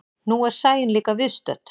Nú er Sæunn líka viðstödd.